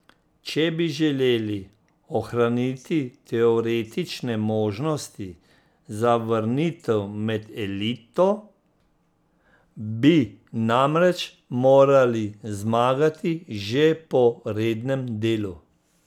Če bi želeli ohraniti teoretične možnosti za vrnitev med elito, bi namreč morali zmagati že po rednem delu.